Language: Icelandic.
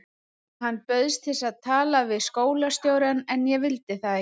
Hann bauðst til að tala við skólastjórann en ég vildi það ekki.